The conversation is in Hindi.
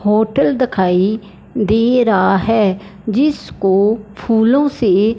होटल दिखाई दे रहा है जिसको फूलों से--